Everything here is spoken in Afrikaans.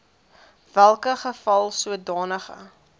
welke geval sodanige